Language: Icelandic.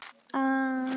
Þau eru látin.